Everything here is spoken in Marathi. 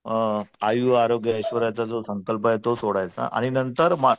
आयु आरोग्य ऐश्वर्याचा संकल्प आहे तो सोडायचा आणि नंतर